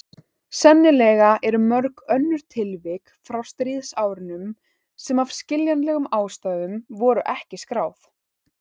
Sennilega eru mörg önnur tilvik frá stríðsárunum sem af skiljanlegum ástæðum voru ekki skráð.